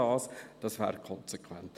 » Das wäre konsequent.